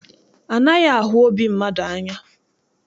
Anaghị ahụ obi mmadụ anya.